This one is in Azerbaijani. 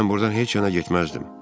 Mən burdan heç yana getməzdim.